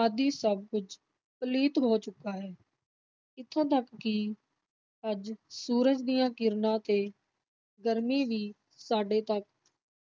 ਆਦਿ ਸਭ ਕੁੱਝ ਪਲੀਤ ਹੋ ਚੁੱਕਾ ਹੈ, ਇੱਥੋਂ ਤਕ ਕਿ ਅੱਜ ਸੂਰਜ ਦੀਆਂ ਕਿਰਨਾਂ ਤੇ ਗਰਮੀ ਵੀ ਸਾਡੇ ਤਕ